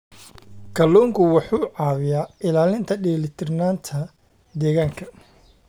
Kalluunku wuxuu caawiyaa ilaalinta dheelitirnaanta deegaanka.